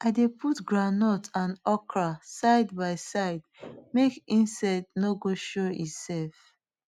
i dey put groundnut and okra side by side make insect nor go show e self